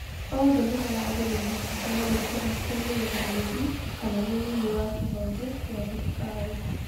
" Othe Nĩmaaragĩrĩirwo kũheyo gĩturua kĩa mũrũgamĩrĩri kana mũnini wa kĩhonge gĩa thirikari.